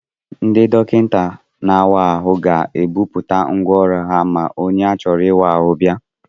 Ndị dọkịta na-awa ahụ ga-ebuputa ngwa ọrụ ha ma onye a chọrọ ịwa ahụ bịa.